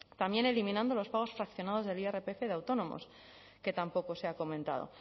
también eliminando los pagos fraccionados del irpf de autónomos que tampoco se ha comentado